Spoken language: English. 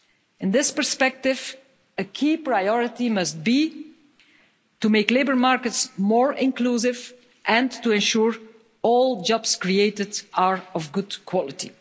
In this perspective, a key priority must be to make labour markets more inclusive and to ensure all jobs created are of good quality.